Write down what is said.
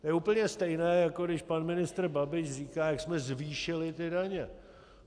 To je úplně stejné, jako když pan ministr Babiš říká, jak jsme zvýšili ty daně.